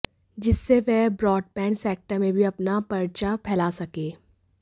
जिससे वह broadband sector में भी अपना पर्चा फैला सके